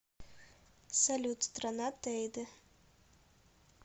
салют страна тейде